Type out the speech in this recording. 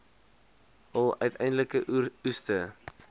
hul uiteindelike oeste